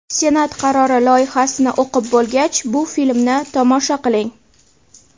Senat qarori loyihasini o‘qib bo‘lgach, bu filmni tomosha qiling!